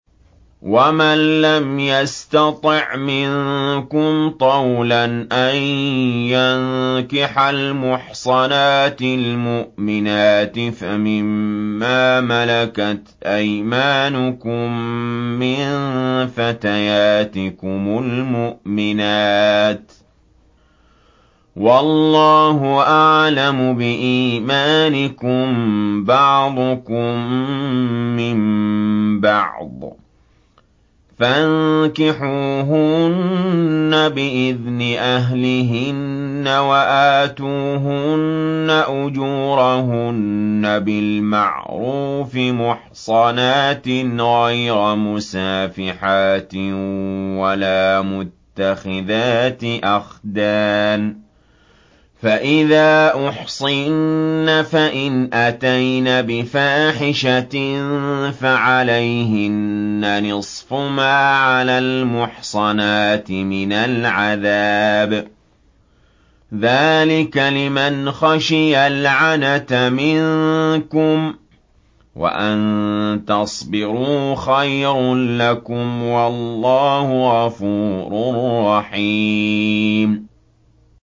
وَمَن لَّمْ يَسْتَطِعْ مِنكُمْ طَوْلًا أَن يَنكِحَ الْمُحْصَنَاتِ الْمُؤْمِنَاتِ فَمِن مَّا مَلَكَتْ أَيْمَانُكُم مِّن فَتَيَاتِكُمُ الْمُؤْمِنَاتِ ۚ وَاللَّهُ أَعْلَمُ بِإِيمَانِكُم ۚ بَعْضُكُم مِّن بَعْضٍ ۚ فَانكِحُوهُنَّ بِإِذْنِ أَهْلِهِنَّ وَآتُوهُنَّ أُجُورَهُنَّ بِالْمَعْرُوفِ مُحْصَنَاتٍ غَيْرَ مُسَافِحَاتٍ وَلَا مُتَّخِذَاتِ أَخْدَانٍ ۚ فَإِذَا أُحْصِنَّ فَإِنْ أَتَيْنَ بِفَاحِشَةٍ فَعَلَيْهِنَّ نِصْفُ مَا عَلَى الْمُحْصَنَاتِ مِنَ الْعَذَابِ ۚ ذَٰلِكَ لِمَنْ خَشِيَ الْعَنَتَ مِنكُمْ ۚ وَأَن تَصْبِرُوا خَيْرٌ لَّكُمْ ۗ وَاللَّهُ غَفُورٌ رَّحِيمٌ